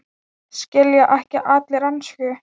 Skilja ekki allir ensku?